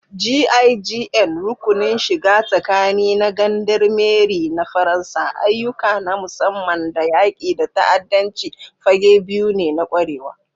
GIGN (Rukunin shiga tsakani na Gendarmerie na Faransa), ayyuka na musamman da yaƙi da ta'addanci fage biyu ne na ƙwarewa.